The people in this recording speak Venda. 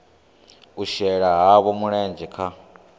u shela havho mulenzhe kha